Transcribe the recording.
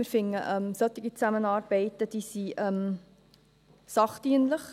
Wir finden, solche Zusammenarbeiten sind sachdienlich.